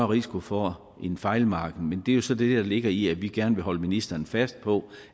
risiko for en fejlmargen men det er jo så det der ligger i at vi gerne holde ministeren fast på